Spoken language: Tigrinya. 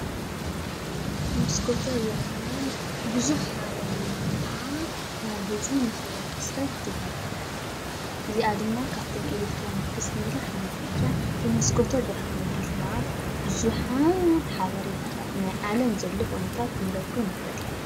መስኮተ ብርሃን ብዙሕ ሓበሬታ ናብ ህዝቢ ንክበፅሕ ትገብር፡፡ እዚኣ ድማ ካብቶም ኤለክትሮኒክስ እንብሎም ሓንቲ እያ፡፡ ብመስኮተ ብርሃን ኣቢልና ብዙሓት ሓበሬታታት ናይ ዓለም ዘሎ ኩነታት ክንረክብ ንኽእል፡፡